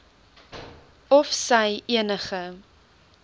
of sy enige